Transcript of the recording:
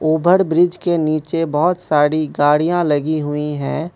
ओबर bridge के नीचे बहुत सारी गाड़ियां लगी हुई हैं।